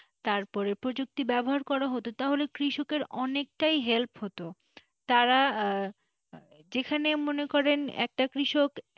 তারপরে প্রযুক্তি ব্যবহার করা হতো তাহলে কৃষক কের অনেকটাই help হতো তারা যেখানে মনে করেন একটা কৃষক,